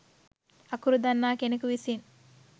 අකුරු දන්නා කෙනෙකු විසින්